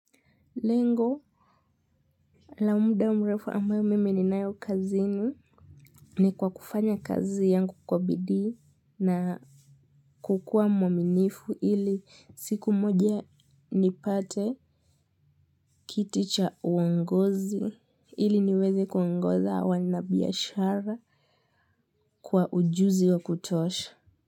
Lengo la muda mrefu ambayo mimi ni nayo kazini ni kwa kufanya kazi yangu kwa bidii kukua mwaminifu ili siku moja ni pate kiti cha uongozi ili niweze kuongoza wanabiashara kwa ujuzi wa kutosha.